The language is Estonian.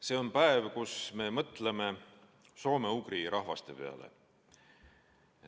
See on päev, kui me mõtleme soome-ugri rahvaste peale.